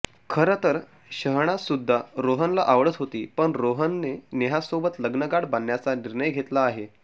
खरंतर शहनाजसुद्धा रोहनला आवडत होती पण रोहनने नेहासोबत लग्नगाठ बांधण्याचा निर्णय घेतला आहे